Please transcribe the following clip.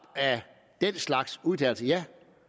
af den slags udtalelser ja